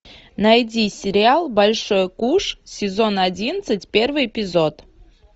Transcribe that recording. найди сериал большой куш сезон одиннадцать первый эпизод